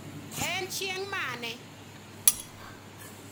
en chieng' mane